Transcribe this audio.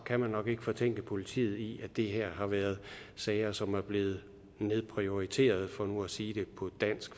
kan man nok ikke fortænke politiet i at det her har været sager som er blevet nedprioriteret for nu at sige det på dansk